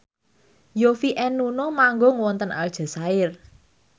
Yovie and Nuno manggung wonten Aljazair